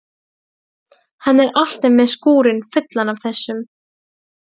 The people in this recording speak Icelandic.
Hann er alltaf með skúrinn fullan af þessu.